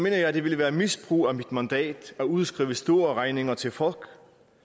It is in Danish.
jeg det ville være misbrug af mit mandat at udskrive store regninger til folk